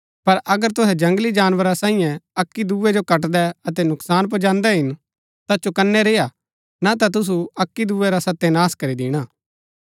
पर अगर तुहै जंगली जानवरा सांईये अक्की दूये जो कटदै अतै नूकसान पुजादैं हिन ता चौकनै रेय्आ ना ता तुसु अक्की दूये रा सत्यनाश करी दिणा